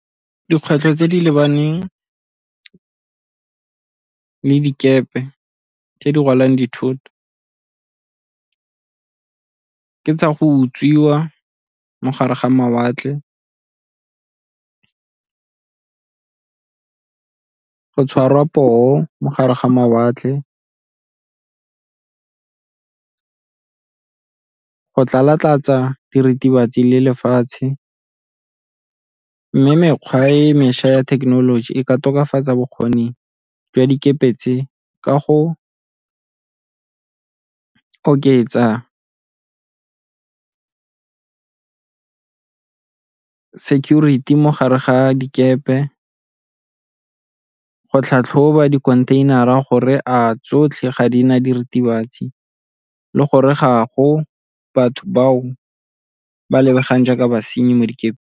Dikgwetlho tse di lebaneng le dikepe tse di rwalang dithoto ke tsa go utswiwa mo gare ga mawatle, go tshwarwa poo mo gare ga mawatle, go tlalatlatsa diritibatsi le lefatshe. Mme mekgwa e mešwa ya thekenoloji e ka tokafatsa bokgoni jwa dikepe tse, ka go oketsa security mo gare ga dikepe, go tlhatlhoba dikhontheinara gore a tsotlhe ga di na diritibatsi le gore gago batho bao ba lebegang jaaka basenyi mo dikepe?